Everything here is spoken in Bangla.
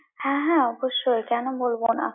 হ্যাঁ হ্যাঁ অবশ্যই, কেন বলবো না?